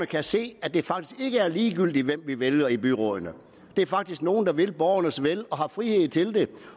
kan se at det faktisk ikke er ligegyldigt hvem vi vælger til byrådene det er faktisk nogle der vil borgernes vel og har frihed til det